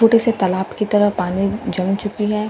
छोटे से तालाब की तरह पानी जम चुकी है।